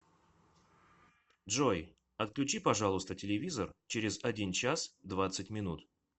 джой отключи пожалуйста телевизор через один час двадцать минут